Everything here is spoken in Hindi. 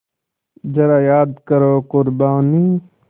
ज़रा याद करो क़ुरबानी